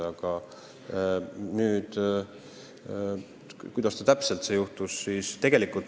Aga kuidas täpselt siis kõik oli ...